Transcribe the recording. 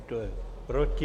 Kdo je proti?